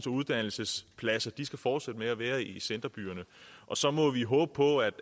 uddannelsespladser skal fortsætte med at være i centerbyerne og så må vi håbe på at